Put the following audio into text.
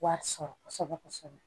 Wari sɔrɔ kosɛbɛ kosɛbɛ